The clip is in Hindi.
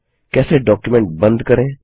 कैसे डॉक्युमेंट बंद करें